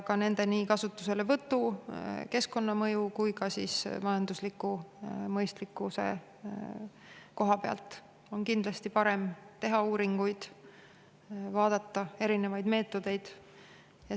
Ka nende kasutuselevõtu, keskkonnamõju ja majandusliku mõistlikkuse koha pealt on kindlasti parem teha uuringuid ja vaadata erinevaid meetodeid.